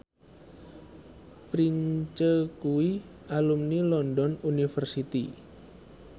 Prince kuwi alumni London University